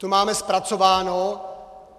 To máme zpracováno.